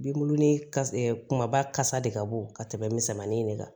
Binkurunin ka kumaba kasa de ka bon ka tɛmɛ misɛnmanin in de kan